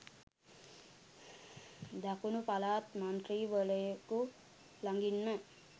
දකුණු පළාත් මන්ත්‍රීවරයකු ළඟින්ම